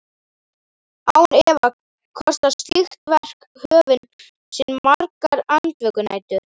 Án efa kostar slíkt verk höfund sinn margar andvökunætur.